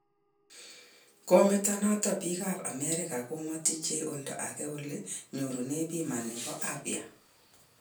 Kometo noto biik ab amerika komotiche olda age ole nyoru bima nebo abya